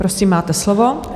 Prosím, máte slovo.